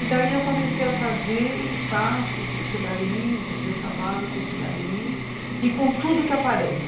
E daí eu comecei a fazer e faço isso daí, trabalho com isso daí e com tudo que aparece.